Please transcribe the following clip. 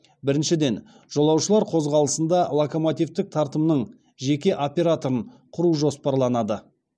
біріншіден жолаушылар қозғалысында локомотивтік тартымның жеке операторын құру жоспарланады